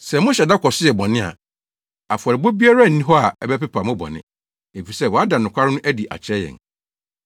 Sɛ mohyɛ da kɔ so yɛ bɔne a, afɔrebɔ biara nni hɔ a ɛbɛpepa mo bɔne, efisɛ wɔada nokware no adi akyerɛ yɛn.